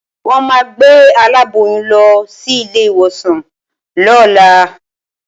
Wọ́n máa gbé aláboyún lọ sí ilé-ìwòsàn lọ́la